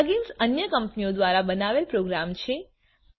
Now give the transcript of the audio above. plugins અન્ય કંપનીઓ દ્વારા બનાવેલ પ્રોગ્રામ છે